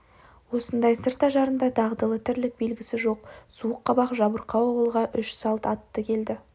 осындай сырт ажарында дағдылы тірлік белгісі жоқ суық қабақ жабырқау ауылға үш салт атты келді